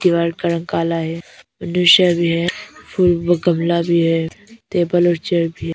दीवार का रंग काला है। मनुष्य भी है। फूल भी गमला भी है। टेबल और चेयर भी है।